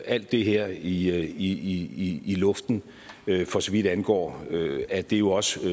alt det her i luften for så vidt angår at det jo også